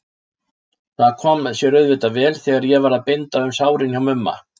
Það kom sér auðvitað vel þegar ég var að binda um sárin hjá Mumma.